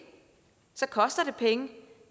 så koster det penge